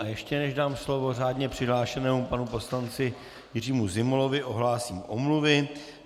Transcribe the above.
A ještě než dám slovo řádně přihlášenému panu poslanci Jiřímu Zimolovi, ohlásím omluvy.